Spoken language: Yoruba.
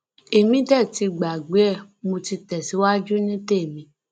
èmi dé ti gbàgbé ẹ mọ ti tẹsíwájú ní tèmi